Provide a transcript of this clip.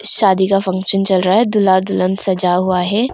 शादी का फंक्शन चल रहा है दूल्हा दुल्हन सजा हुआ है।